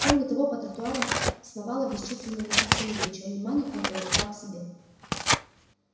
кроме того по тротуарам сновало бесчисленное множество людей чьё внимание он привлекал к себе